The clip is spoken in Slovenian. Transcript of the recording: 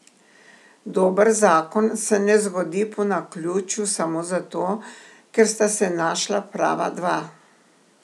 Dober zakon se ne zgodi po naključju samo zato, ker sta se našla prava dva.